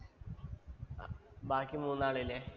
ബാക്കി മൂന്നാള് ഇല്ലേ?